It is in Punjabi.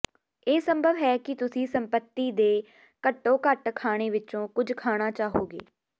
ਇਹ ਸੰਭਵ ਹੈ ਕਿ ਤੁਸੀਂ ਸੰਪੱਤੀ ਦੇ ਘੱਟੋ ਘੱਟ ਖਾਣੇ ਵਿੱਚੋਂ ਕੁਝ ਖਾਣਾ ਚਾਹੋਗੇ